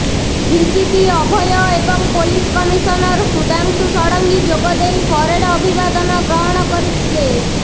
DGP Abhay ଏବଂ police commissioner Sudhanshu Sarangi ଯୋଗଦେଇ parade ଅଭିଭାଦନ ଗ୍ରହଣ କରିଥିଲେ